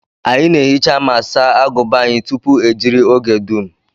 Anyị na ehicha ma saa aguba anyi tupu ejiri oge dum